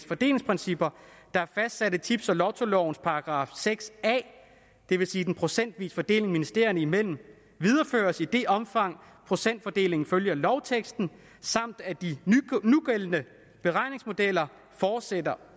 fordelingsprincipper der er fastsat af tips og lottolovens § seks a det vil sige den procentvise fordeling ministerierne imellem videreføres i det omfang procentfordelingen følger lovteksten samt at de nugældende beregningsmodeller fortsætter